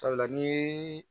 Sabula ni